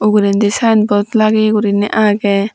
uguredi sign board lageye guriney agey.